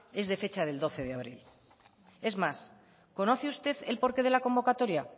es de fecha del doce de abril es más conoce usted el porqué de la convocatoria